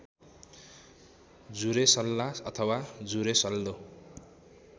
जुरेसल्ला अथवा जुरेसल्लो